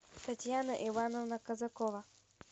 татьяна ивановна казакова